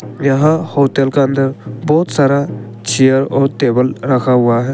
यह होटल का अंदर बहोत सारा चेयर और टेबल रखा हुआ है।